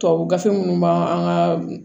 Tubabu gafe minnu b'an ka